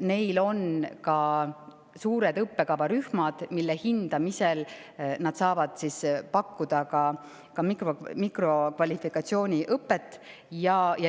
neid tunnistusi, on suured õppekavarühmad, mille hindamisel saavad nad pakkuda ka mikrokvalifikatsiooniõpet.